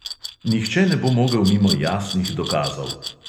Nihče ne bo mogel mimo jasnih dokazov.